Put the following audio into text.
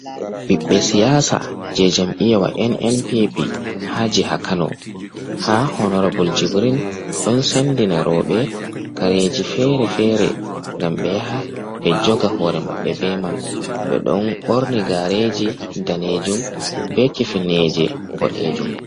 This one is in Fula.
Ɓiɓɓe siyasa je jam iyawa nn pp ha jiha kano ha honorabol jibrin ɗon sendina roɓɓe kareji fere-fere ngam ɓe yaha ɓe joga hore maɓɓe be man, ɓe ɗon ɓorni gareji danejum be kefneje boɗejum.